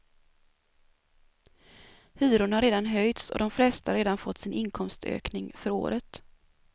Hyrorna har redan höjts och de flesta har redan fått sin inkomstökning för året.